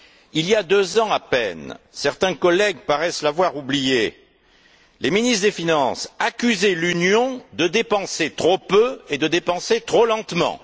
Il y a deux ans à peine, certains collègues paraissent l'avoir oublié, les ministres des finances accusaient l'Union de dépenser trop peu et de dépenser trop lentement.